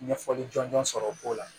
Ɲɛfɔli jɔnjɔn sɔrɔ o ko la